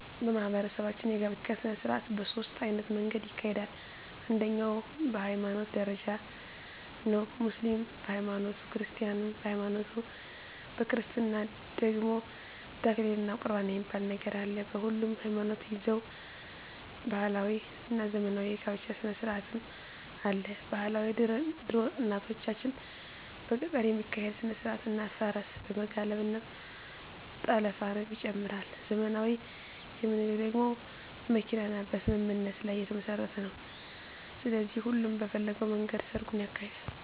በማህበረሰባችን የጋብቻ ሰነስርአት በ ሶስት አይነት መንገድ ይካሄዳል አንደኛዉ በ ሀይማኖት ደረጃ ነዉ ሙስሊምም በ ሀይማኖቱ ክርስቲያንም በሀይማኖቱ በክርስትና ደግሞ ተክሊል እና ቁርባን የሚባል ነገር አለ በሁሉም ሀይማኖት ደዛዉ ባህላዊ እና ዘመናዊ የ ጋብቻ ስነስርአትም አለ ...ባህላዊ ድሮ እናቶቻችን በገጠር የሚካሄድ ስነስርአት እና ፈረስ በመጋለብ እና ጠለፍንም ይጨምራል .........ዘመናዊ የምንለዉ ደግሞ በመኪና እና በስምምነት ላይ የተመስረተ ነዉ ስለዚህ ሁሉም በፈለገዉ መንገድ ሰርጉን ያካሂዳል።